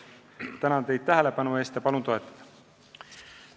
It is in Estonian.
Tänan teid tähelepanu eest ja palun eelnõu toetada!